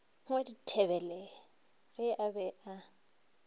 wa dithebele ge a be